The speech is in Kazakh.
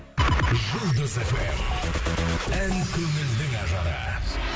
жұлдыз эф эм ән көңілдің ажары